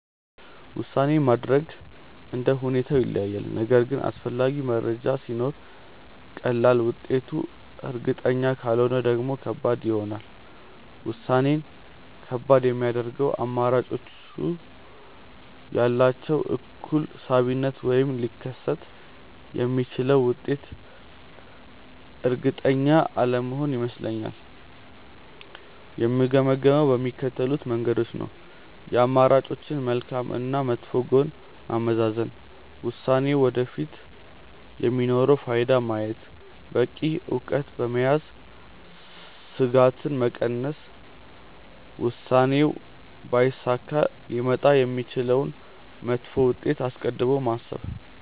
ውሳኔ ማድረግ እንደ ሁኔታው ይለያያል፤ ነገር ግን አስፈላጊ መረጃ ሲኖር ቀላል፣ ውጤቱ እርግጠኛ ካልሆነ ደግሞ ከባድ ይሆናል። ውሳኔን ከባድ የሚያደርገው አማራጮቹ ያላቸው እኩል ሳቢነት ወይም ሊከተል የሚችለው ውጤት እርግጠኛ አለመሆን ይመስለኛል። የምገመግመው በሚከተሉት መንገዶች ነው፦ የአማራጮችን መልካም እና መጥፎ ጎን ማመዛዘን፣ ውሳኔው ወደፊት የሚኖረውን ፋይዳ ማየት፣ በቂ እውቀት በመያዝ ስጋትን መቀነስ፣ ውሳኔው ባይሳካ ሊመጣ የሚችለውን መጥፎ ውጤት አስቀድሞ ማሰብ።